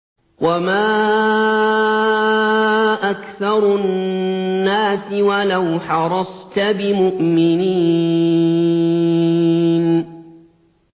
وَمَا أَكْثَرُ النَّاسِ وَلَوْ حَرَصْتَ بِمُؤْمِنِينَ